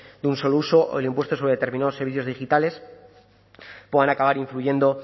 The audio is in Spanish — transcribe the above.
de un solo uso o el impuesto sobre determinados servicios digitales puedan acabar influyendo